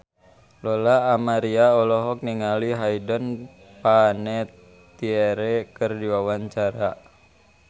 Lola Amaria olohok ningali Hayden Panettiere keur diwawancara